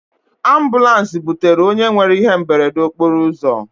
Ambụlans butere onye nwere ihe mberede okporoụzọ.